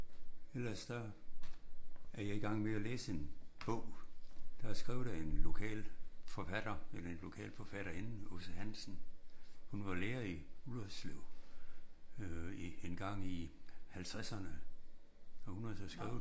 Ellers så er jeg i gang med at læse en bog der er skrevet af en lokal forfatter. En lokal forfatterinde Aase Hansen. Hun var lærer i Ullerslev øh engang i 50'erne og hun har så skrevet en